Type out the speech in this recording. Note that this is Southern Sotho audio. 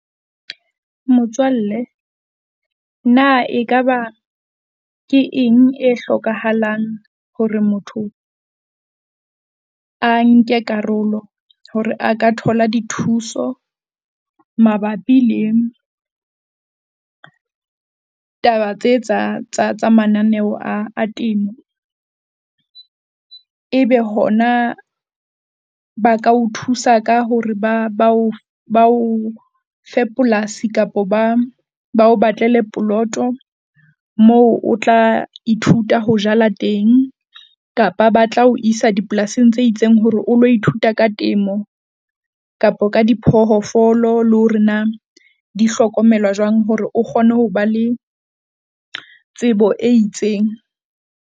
Motswalle na ekaba ke eng e hlokahalang hore motho a nke karolo hore a ka thola dithuso mabapi le taba tse tsa tsa tsa mananeo a temo? Ebe hona ba ka o thusa ka hore ba bao bao fe polasi kapo ba bao batlele poloto? Moo o tla ithuta ho jala teng kapa ba tla ho isa dipolasing tse itseng hore o lo ithuta ka temo? Kapo ka diphoofolo, le hore na di hlokomelwa jwang hore o kgone ho ba le tsebo e itseng?